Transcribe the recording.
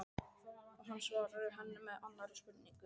Og hann svarar henni með annarri spurningu